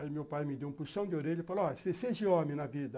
Aí meu pai me deu um puxão de orelha e falou, ó, você seja homem na vida.